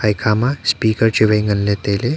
ekha ma speaker chu wai nganley tailey.